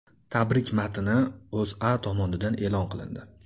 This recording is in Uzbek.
Tabrik matni O‘zA tomonidan e’lon qilindi .